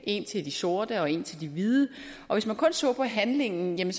en til de sorte og en til de hvide og hvis man kun så på handlingen